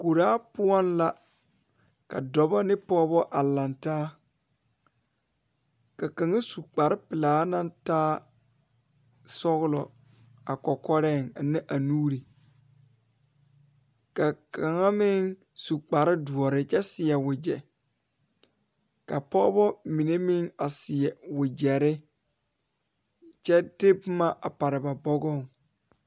Koɔraa poɔ la ka dɔɔba ne pɔgeba a lantaa ka dɔɔba banuu a zɔŋ a a kuriwiire kaŋa eɛ ziɛ kyɛ taa peɛle kaa kuriwiire mine e sɔglɔ kyɛ ka konkobile fare a kuriwiire poɔ a e doɔre a seɛ wagyere kyɛ de boma pare ba bɔgɔŋ.